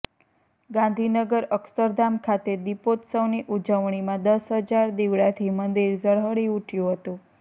ગાંધીનગર અક્ષરધામ ખાતે દિપોત્સવની ઉજવણીમાં દસ હજાર દીવડાથી મંદિર ઝળહળી ઉઠયું હતું